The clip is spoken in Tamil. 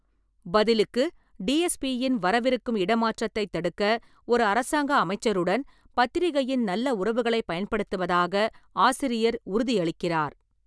பதிலுக்கு, டி. எஸ். பி. யின் வரவிருக்கும் இடமாற்றத்தைத் தடுக்க ஒரு அரசாங்க அமைச்சருடன் பத்திரிகையின் நல்ல உறவுகளைப் பயன்படுத்துவதாக ஆசிரியர் உறுதியளிக்கிறார்.